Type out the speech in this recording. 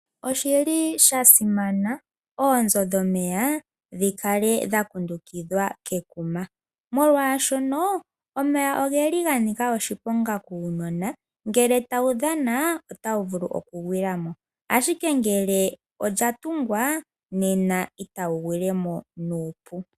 Oshili sha simana oonzo dhomeya dhi kale dha kundukidhwa kekuma molwaashono omeya ogeli ga nika oshiponga kuunona. Ngele tawu dhana otawu vulu oku gwila mo. Ashike ngele olya tungwa, nena otawu gwile mo nuupu.